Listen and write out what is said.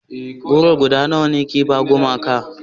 goro guda nawa a ke ba gumaka